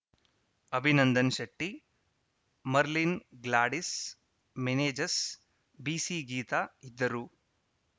ಅಭಿನಂದನ್‌ ಶೆಟ್ಟಿ ಮರ್ಲಿನ್‌ ಗ್ಲಾಡಿಸ್‌ ಮೆನೇಜಸ್‌ ಬಿಸಿಗೀತಾ ಇದ್ದರು